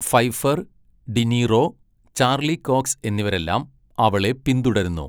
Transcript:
Pfeiffer, De Niro, Charlie Cox എന്നിവരെല്ലാം അവളെ പിന്തുടരുന്നു.